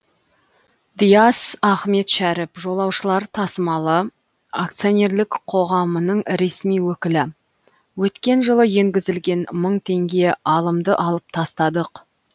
диас ахметшәріп жолаушылар тасымалы акционерлік қоғамының ресми өкілі өткен жылы енгізілген мың теңге алымды алып тастадық